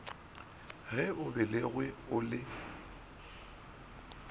ge o belegwe o le